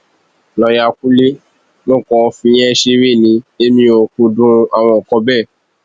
lọọyà kúnlẹ mo kàn ń fìyẹn ṣeré ni èmi ò kúndùn àwọn nǹkan bẹẹ